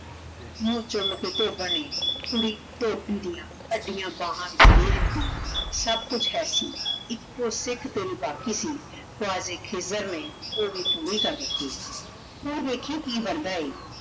ਮੂ ਚੂਮ ਕੇ ਧੋਬਨ ਨੇ ਕੁੜੀ ਧੋਬੀ ਦੀਆਂ ਅਡਿਆਂ ਬਾਹਾਂ ਵਿਚ ਦੇ ਦਿਤੀ ਸਬ ਕੁਛ ਹੈ ਸੀ ਇਕੋ ਸਿਖ ਤੇਰੀ ਬਾਕ਼ੀ ਸੀ ਊ ਆਜ ਏਇਕ ਖਿਜ਼ਰ ਨੇ ਊ ਵੀ ਪੂਰੀ ਕਰ ਦਿਤੀ ਤੂ ਵੇਖੀ ਕੀ ਬਣਦਾ ਆਯ